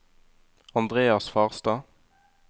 Andreas Farstad